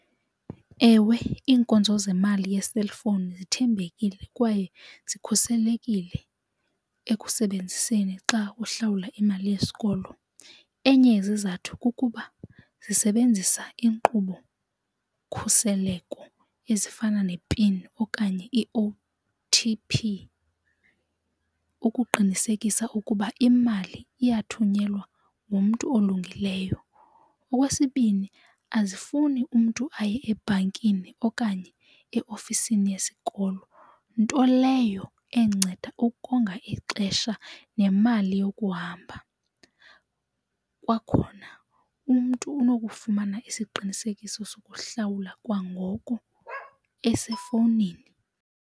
Ewe, iinkonzo zemali yeselfowuni zithembekile kwaye zikhuselekile ekusebenziseni xa uhlawula imali yesikolo. Enye yezizathu kukuba zisebenzisa inkqubo-khuseleko ezifana ne-pin okanye i-O_T_P ukuqinisekisa ukuba imali iyathunyelwa ngumntu olungileyo. Okwesibini, azifuni umntu aye ebhankini okanye eofisini yesikolo nto leyo enceda ukonga ixesha nemali yokuhamba. Kwakhona umntu unokufumana isiqinisekiso sokuhlawula kwangoko esefowunini.